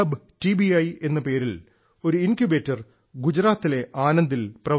I എന്ന പേരിൽ ഒരു ഇൻക്യുബേറ്റർ ഗുജറാത്തിലെ ആനന്ദിൽ പ്രവർത്തിക്കുന്നു